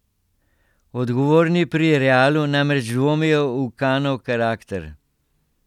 Odgovorni pri Realu namreč dvomijo v Kanov karakter.